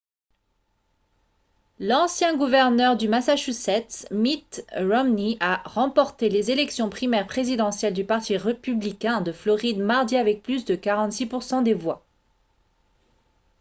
l'ancien gouverneur du massachusetts mitt romney a remporté les élections primaires présidentielles du parti républicain de floride mardi avec plus de 46 % des voix